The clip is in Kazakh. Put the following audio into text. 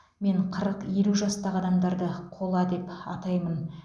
мен қырық елу жастағы адамдарды қола деп атаймын